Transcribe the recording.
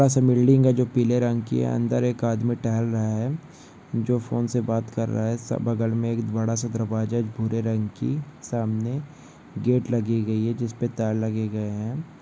असा बिल्डिंग है जो पीले रंग की है अंदर एक आदमी टहल रहा है जो फोन से बात कर रहा है सब बगल मे एक बड़ा सा दरवाजा भूरे रंग की सामने गेट लगी गई है जिस पर तार लगे गए है।